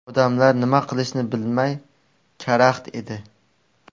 Odamlar nima qilishni bilmay karaxt edi.